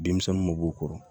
Denmisɛnninw ma bɔ u kɔrɔ